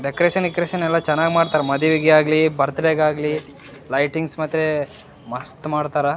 Decoration ಗಿಕೋರೇಷನ್ ಯಲ್ಲಾ ಚೆನ್ನಾಗಿ ಮಾಡ್ತಾರಾ ಮದುವೆಗೆ ಆಗ್ಲಿ ಬರ್ತ್ಡೇ ಗೆ ಆಗ್ಲಿ ಲೈಟಿಂಗ್ಸ್ ಮತ್ತೆ ಮಸ್ತ್ ಮಾಡ್ತಾರಾ.